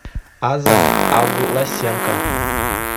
аза авласенко